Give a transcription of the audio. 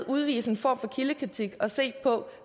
udvise en form for kildekritik og se på